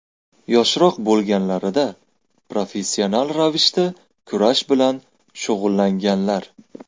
Yoshroq bo‘lganlarida professional ravishda kurash bilan shug‘ullanganlar.